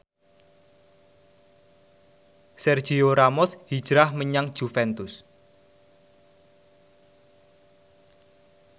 Sergio Ramos hijrah menyang Juventus